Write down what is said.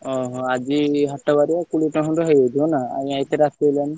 ଓହୋ ଆଜି ହାଟ ବାରିନା କୋଡିଏ ଟଙ୍କା ଖଣ୍ଡେ ହେଇଯାଇଥିବ ନା ଆଉ ଏତେ ରାତି ହେଲାଣି।